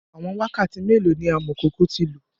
Awọn wakati melo ni amọkoko ti lo?